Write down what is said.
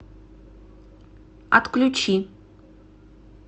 отключи